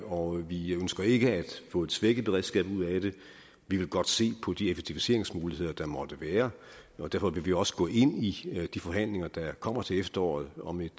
og vi ønsker ikke at få et svækket beredskab ud af det vi vil godt se på de effektiviseringsmuligheder der måtte være og derfor vil vi også gå ind i de forhandlinger der kommer til efteråret om et